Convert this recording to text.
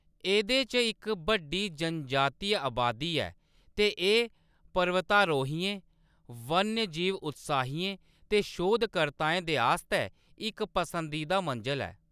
एह्‌‌‌दे च इक बड्डी जनजातीय अबादी ऐ ते एह्‌‌ पर्वतारोहियें, वन्यजीव उत्साहियें ते शोधकर्ताएं दे आस्तै इक पसंदीदा मंजल ऐ।